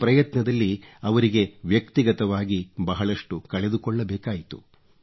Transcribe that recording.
ಈ ಪ್ರಯತ್ನದಲ್ಲಿ ಅವರಿಗೆ ವ್ಯಕ್ತಿಗತವಾಗಿ ಬಹಳಷ್ಟು ಕಳೆದುಕೊಳ್ಳಬೇಕಾಯಿತು